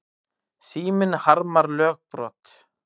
Síminn harmar lögbrot